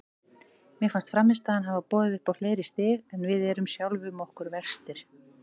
Mér fannst frammistaðan hafa boðið upp á fleiri stig en við erum sjálfum okkur verstir.